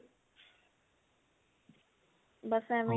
ਬਸ ਇਵੇਂ